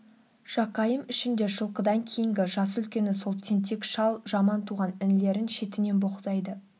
жақайым ішінде жылқыдан кейінгі жасы үлкені сол тентек шал жаман туған інілерін-шетінен боқтайды